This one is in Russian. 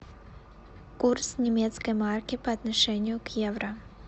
курс немецкой марки по отношению к евро